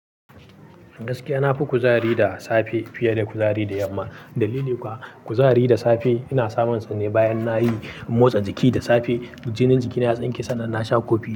Gaskiya na fi kuzari da safe fiye da kuzari da yamma. Dalili kuwa, kuzari da safe ina samunsa ne bayan nayi motsa jiki da safe. Jinin jikina ya tsinke sannan na sha kofi.